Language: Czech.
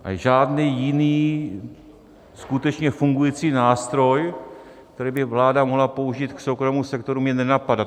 A žádný jiný skutečně fungující nástroj, který by vláda mohla použít k soukromému sektoru, mě nenapadá.